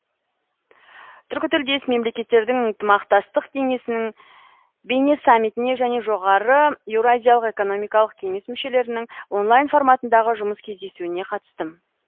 түркітілдес мемлекеттердің ынтымақтастық кеңесінің бейнесаммитіне және жоғары еуразиялық экономикалық кеңес мүшелерінің онлайн форматындағы жұмыс кездесуіне қатыстым